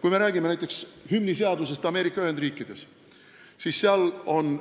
Kui me räägime näiteks hümniseadusest Ameerika Ühendriikides, siis seal on